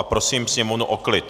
A prosím sněmovnu o klid.